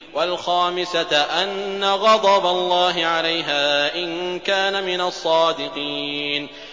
وَالْخَامِسَةَ أَنَّ غَضَبَ اللَّهِ عَلَيْهَا إِن كَانَ مِنَ الصَّادِقِينَ